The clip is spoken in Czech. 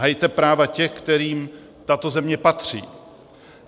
Hajte práva těch, kterým tato země patří.